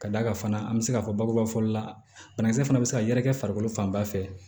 Ka d'a kan fana an bɛ se k'a fɔ bakuruba fɔli la banakisɛ fana bɛ se ka yɛrɛkɛ farikolo fan ba fɛ